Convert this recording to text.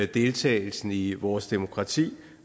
deltagelsen i vores demokrati